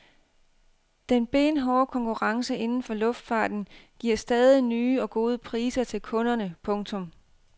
Den benhårde konkurrence inden for luftfarten giver stadig nye og gode priser til kunderne. punktum